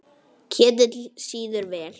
Ketill sýður vel.